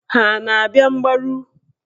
Ha a na-abịa mgbaru?